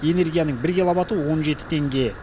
энергияның бір киловаты он жеті теңге